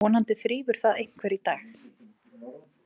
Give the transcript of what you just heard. Vonandi þrífur það einhver í dag.